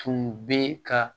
Tun bɛ ka